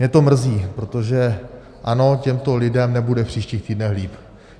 Mě to mrzí, protože ano, těmto lidem nebude v příštích týdnech líp.